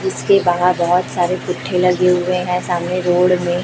इसके बाहर बहुत सारे लगे हुए हैं सामने रोड में--